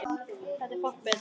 Það er fátt betra.